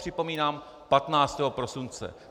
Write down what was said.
Připomínám, 15. prosince.